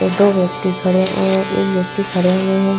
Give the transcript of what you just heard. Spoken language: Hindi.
दो व्यक्ति खड़े हुए एक व्यक्ति खड़े हुए हैं।